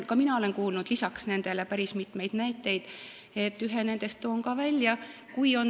Ka mina olen kuulnud päris mitmeid näiteid, ühe toon välja.